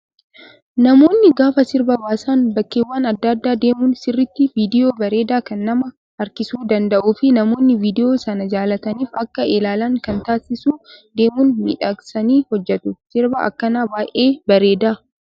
Namoonni gaafa sirba baasan bakkeewwan adda addaa deemuun sirriitti viidiyoo bareedaa kan nama harkisuu danda'uu fi namoonni viidiyoo sana jaallataniif Akka ilaalan kan taasisu deemuun miidhagsanii hojjatu. Sirbi akkanaa baay'ee bareeda